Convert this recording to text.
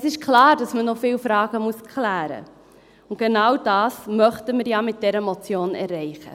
Es ist klar, dass man noch viele Fragen klären muss, und genau das möchten wir ja mit dieser Motion erreichen.